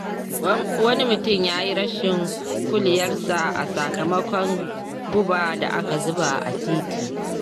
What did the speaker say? Wani mutum ya yi rashin kuliyarsa a sakamakon guba da aka zuba a titi.